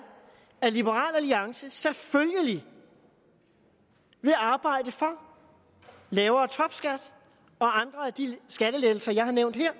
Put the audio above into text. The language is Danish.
at liberal alliance selvfølgelig vil arbejde for lavere topskat og andre af de skattelettelser jeg har nævnt her